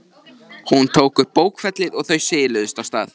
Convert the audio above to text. Hún tók upp bókfellið og þau siluðust af stað.